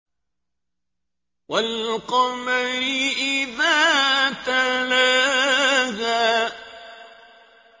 وَالْقَمَرِ إِذَا تَلَاهَا